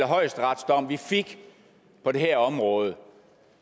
højesteretsdom vi fik på det her område